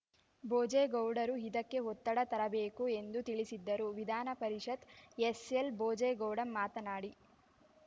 ಭೋಜೇಗೌಡರು ಇದಕ್ಕೆ ಒತ್ತಡ ತರಬೇಕು ಎಂದು ತಿಳಿಸಿದ್ದರು ವಿಧಾನ ಪರಿಷತ್‌ ಎಸ್‌ಎಲ್‌ ಭೋಜೇಗೌಡ ಮಾತನಾಡಿ